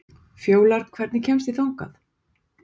Fjólar, hvernig kemst ég þangað?